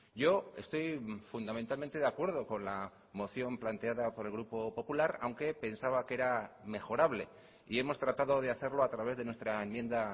yo estoy fundamentalmente de acuerdo con la moción planteada por el grupo popular aunque pensaba que era mejorable y hemos tratado de hacerlo a través de nuestra enmienda